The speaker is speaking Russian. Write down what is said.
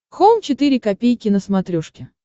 хоум четыре ка на смотрешке